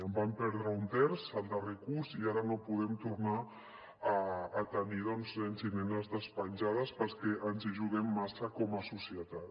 en vam perdre un terç el darrer curs i ara no podem tornar a tenir doncs nens i nenes despenjats perquè ens hi juguem massa com a societat